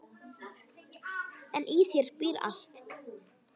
En í þér býr allt.